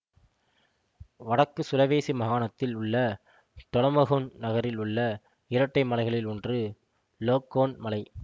வடக்கு சுலவேசி மாகாணத்தில் உள்ள டொனமொஹோன் நகரில் உள்ள இரட்டை மலைகளில் ஒன்று லோக்கோன் மலை